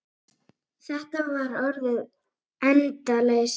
Þetta var orðin endaleysa.